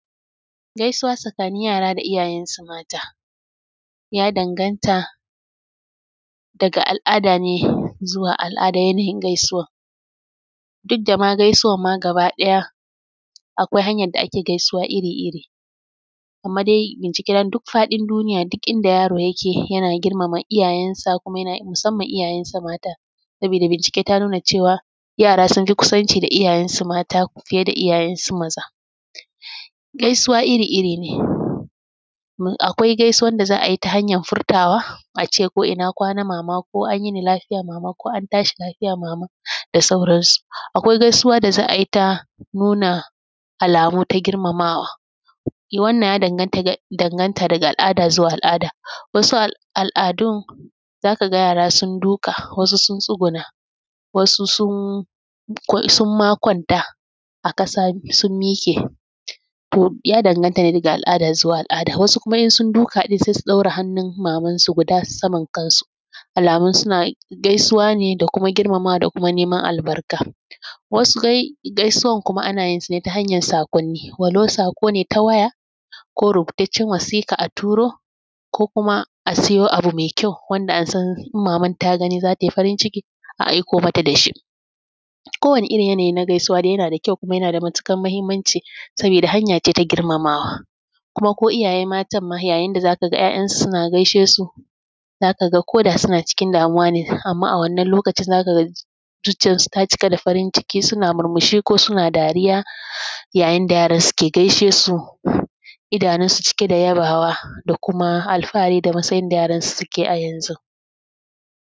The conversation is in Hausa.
Gaisuwa tsakanin yara da iyayen su mata, ya danganta daga al’ada ne zuwa al’ada yanayin gaisuwar. Duk da ma gaisuwar ma gaba ɗaya akwai hanyar da ake gaisuwa iri iri amma dai bincike na duk faɗin duniya duk inda yaro yake yana girmama iyayen sa kuma yana musamman iyayen sa mata, sabida bincike ta nuna cewa yara sun fi kusanci da iyayen sa mata fiye da iyayen su maza. Gaisuwa iri-iri ne, akwai gaisuwan da za a yi ta hanyar furtawa, a ce ko ina kwana mama ko an yini lafiya mama ko an tashi lafiya mama dasauran su. Akwai gaisuwa da za a yi ta nuna alamu ta girmamawa, wannan ya danganta daga al’ada zuwa al’ada. Wasu al’adun za ka ga yara sun duƙa, wasu sun tsuguna, wasu sun sun ma kwanta a ƙasa sun miƙe ya danganta ne daga al’ada zuwa al’ada, wasu kuma in sun duƙa ɗin sau su ɗora hannun maman su guda saman kan su, alamun suna gaisuwane da kuma girmamawa da kuma neman albarka. Wasu gaisuwar kuma ana yin su ne ta hanyar saƙonni walau saƙo ne ta waya ko rubutacciyar wasiƙa a turo ko kuma a siyo abu mai kyau wanda an san maman ta gani zata yi farin ciki a aiko mata da shi. Ko wane irin yanayi dai na gaisuwa yana da kyau kuma yana da matuƙar muhimmanci sabida hanya ce ta girmamawa kuma ko iyaye matan ma yayin da zaka ga ‘ya’yan su suna gaishe su za ka ga koda suna cikin damuwa ne amma a wannan lokacin zuciyar su ta cika da farin ciki suna murmushi ko suna dariya yayin da yaran su ke gaishe su idanun su cike da yabawa da kuma alfahari da matsayin da yaran su suke a yanzu.